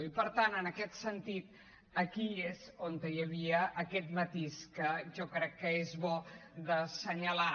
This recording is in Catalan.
i per tant en aquest sentit aquí és on hi havia aquest matís que jo crec que és bo d’assenyalar